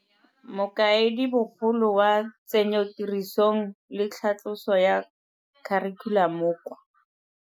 Mokaedibogolo wa Tsenyotirisong le Tlhatloso ya Kharikhulamo kwa.